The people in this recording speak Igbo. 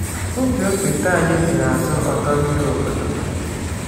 Ubi okpete anyị dị n’azụ ọdọ mmiri obodo.